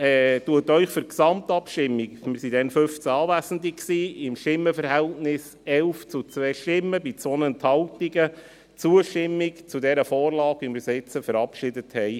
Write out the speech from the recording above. Die FiKo empfiehlt Ihnen für die Gesamtabstimmung – wir waren 15 Anwesende bei einem Stimmenverhältnis von 11 zu 2 bei 2 Enthaltungen – Zustimmung zu dieser Vorlage, wie wir sie verabschiedet haben.